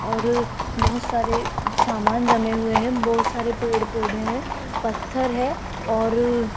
और बहुत सारे सामान जमे हुए हैं बहुत सारे पेड़ पौधे हैं पत्थर है और --